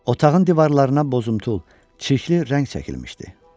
Otağın divarlarına bozuntul çirkli rəng çəkilmişdi.